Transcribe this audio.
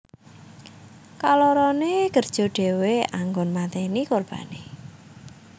Kalorone kerja dhewe anggon mateni korbane